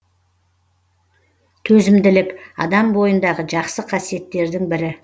төзімділік адам бойындағы жақсы қасиеттердің бірі